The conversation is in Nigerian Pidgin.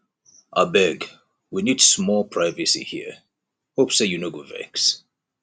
abeg we need small privacy here hope sey you no go vex